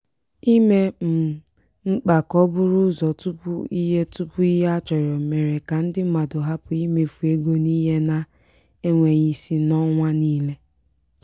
ime um mkpa ka o buru ụzọ tupu ihe tupu ihe a chọrọ mere ka ndị mmadụ hapụ imefu ego n'ihe na-enweghị isi n'ọnwa niile.